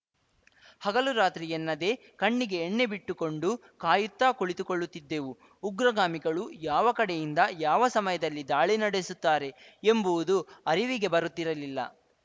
ಹಗಲು ರಾತ್ರಿ ಎನ್ನದೇ ಕಣ್ಣಿಗೆ ಎಣ್ಣೆ ಬಿಟ್ಟುಕೊಂಡು ಕಾಯುತ್ತಾ ಕುಳಿತುಕೊಳ್ಳುತ್ತಿದ್ದೆವು ಉಗ್ರಗಾಮಿಗಳು ಯಾವ ಕಡೆಯಿಂದ ಯಾವ ಸಮಯದಲ್ಲಿ ದಾಳಿ ನಡೆಸುತ್ತಾರೆ ಎಂಬುವುದು ಅರಿವಿಗೆ ಬರುತ್ತಿರಲಿಲ್ಲ